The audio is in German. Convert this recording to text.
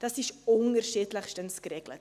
Dies ist unterschiedlich geregelt.